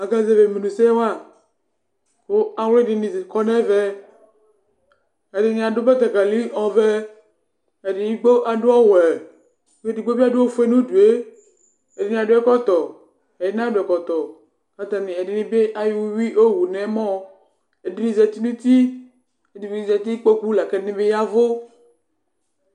Akazɛvi ɛmuni ɛsɛwa ku awu ɛdini kɔ nu ɛvɛ Ɛdini adu betekeli ɔvɛ ɛdigbo adu ɔwɛ ku edigbo bi adu ɔfue nu udue Ɛdini adu ɛkɔtɔ ɛdini bi anadu ɛkɔtɔ Ɛdini bi ayɔ uyui wu nu ɛmɔ Ɛdini zati nu uti ku ɛdini bi zati nu kpoku la ku ɛdini bi ya ɛvu